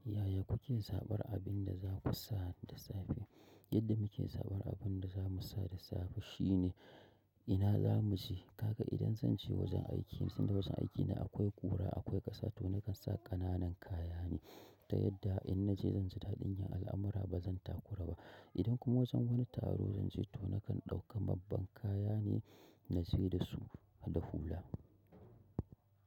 Yaya kuke zaɓar abin da za ku sa da safe? Yadda muke zaɓar abin da za mu sa da safe shine ina za mu je. Kaga idan zan je wajen aiki, sanda wajen aikina akwai ƙura akwai ƙasa to nakan sa ƙananan kaya ne. Da yadda in na je zan ji daɗin yin al'amara ba zan takura ba. Idan ko wajen wani taro zanje to na kan ɗau ka wani babban kaya ne na je da su da hula.